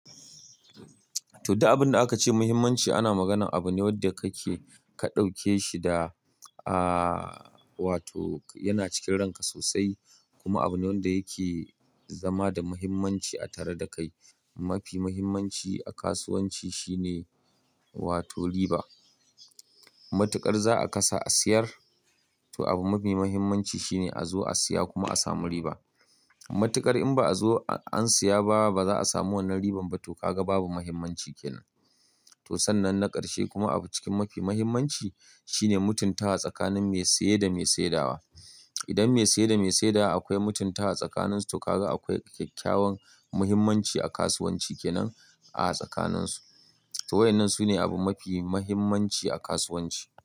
To dai abin da aka ce muhimmanci ana maganar abune wanda ka ke ka ɗauke shi da aaaa wato yana cikin ranka sosai kuma abune wanda yake zama da muhimmanci a tare da kai. Mafi muhimmanci a kasuwanci shine wato riba. Matuƙar za a kasa a siyar, to abu mafi muhimmanci shine a zo a siya kuma a samu riba. Matuƙar in ba a zo an siya ba, ba za a samu wannan riban ba to ka ga babu muhimmanci kenan. To sannan na karshe kuma abu cikin mafi muhimmanci shine mutuntawa tsakanin mai siye da mai saye dawa. Idan mai siye da mai saye dawa akwai mutunta wa tsakaninsu to ka ga akwai kyakkyawan muhimmanci a kasuwanci kenan a tsakaninsu. To waɗannan sune abu mafi muhimmanci a kasuwanci.